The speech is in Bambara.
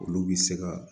Olu bi se ka